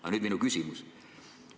Aga nüüd minu küsimus.